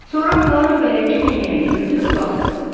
Sonra Puaro bələdçi pencəyini götürüb baxdı.